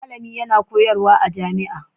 Malami yana koyarwa a jami'a